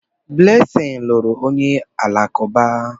Blessing lụrụ onye Alakụba